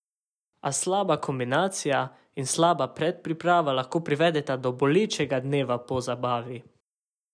A slaba kombinacija in slaba predpriprava lahko privedeta do bolečega dneva po zabavi.